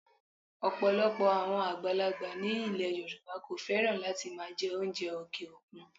Ọ̀pọ̀lọpọ̀ àwọn àgbàlagbà ni ilẹ̀ Yorùbá kò fẹ́ràn láti máa jẹ oúnjẹ òkè òkun